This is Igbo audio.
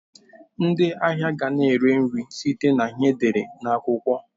Ndị ahịa ga na eri nri site na ihe e dere na akwukwo.